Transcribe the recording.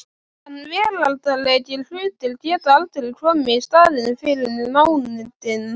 En veraldlegir hlutir geta aldrei komið í staðinn fyrir nándina.